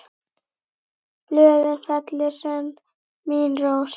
Blöðin fellir senn mín rós.